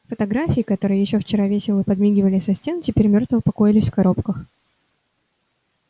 фотографии которые ещё вчера весело подмигивали со стен теперь мертво покоились в коробках